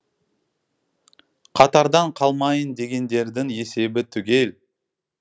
қатардан қалмайын дегендердің есебі түгел